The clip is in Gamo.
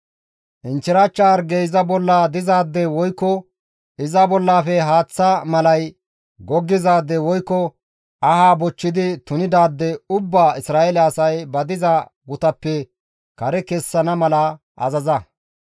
«Inchchirachcha hargey iza bolla dizaade woykko iza bollaafe haaththa malay goggizaade woykko aha bochchidi tunidaade ubbaa Isra7eele asay ba diza gutappe kare kessana mala azaza.